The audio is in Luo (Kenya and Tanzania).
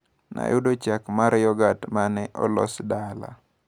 Nayudo chak mar yogat mane olos dala.